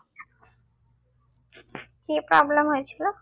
কি problem হয়েছিল